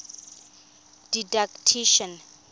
didactician